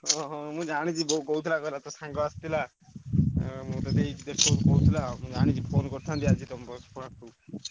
ହଁ ମୁଁ ଜାଣିଛି ବୋଉ କହୁଥିଲା କହିଲା ତୋ ସାଙ୍ଗ ଆସିଥିଲା ଅଁ କହୁଥିଲା ମୁଁ ଜାଣିଛି phone କରିଥାନ୍ତି ଆଜି ତମ ।